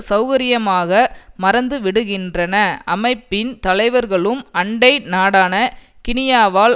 செளகரியமாக மறந்து விடுகின்றன அமைப்பின் தலைவர்களும் அண்டை நாடான கினியாவால்